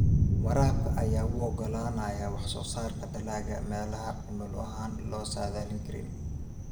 Waraabka ayaa u oggolaanaya wax-soo-saarka dalagga meelaha cimilo ahaan aan la saadaalin karin.